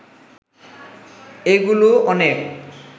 এগুলো অনেক